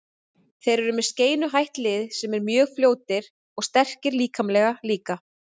Þeir eru með skeinuhætt lið sem eru mjög fljótir og sterkir líkamlega líka.